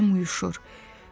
Bədənim uyuşur.